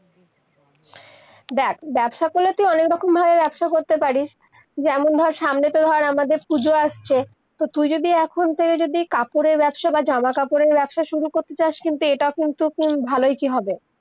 দেখ, ব্যবসা করলে তুই অনেক রকম ভাবে ব্যবসা করতে পারিস, যেমন ধর সামনেতে হার আমাদের পুজো আসছে, তুই যদি, এখন থেকে যদি, কাপড়ের ব্যবসা বা জামা-কাপড়ের ব্যবসা শুরু করতে চসা, কিন্তু, এটা কিন্তু, খুব ভালই কি হবে